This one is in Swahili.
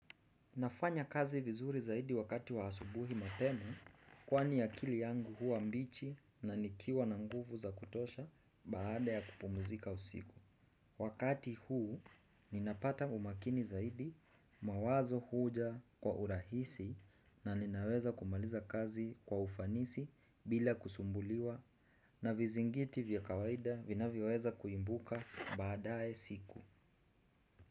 Nafanya kazi vizuri zaidi wakati wa asubuhi mapema kwani akili yangu huwa mbichi na nikiwa na nguvu za kutosha baada ya kupumzika usiku. Wakati huu ninapata umakini zaidi mawazo huja kwa urahisi na ninaweza kumaliza kazi kwa ufanisi bila kusumbuliwa na vizingiti vya kawaida vinavyoweza kuibuka baadaye siku.